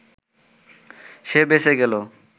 সে বেঁচে গেল